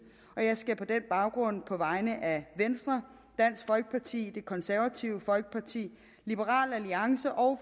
jeg skal på den baggrund på vegne af venstre dansk folkeparti det konservative folkeparti liberal alliance og